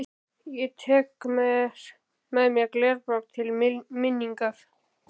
Ég tek með mér glerbrot til minningar.